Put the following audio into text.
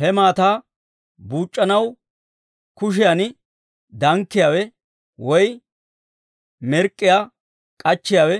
He maataa buuc'c'anaw kushiyaan dankkiyaawe, woy mirk'k'iyaa k'achchiyaawe